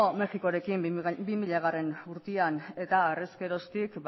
mexikorekin bi milagarrena urtean era harez geroztik